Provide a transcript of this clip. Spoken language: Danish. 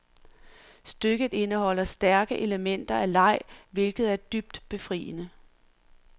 Stykket indeholder stærke elementer af leg, hvilket er dybt befriende.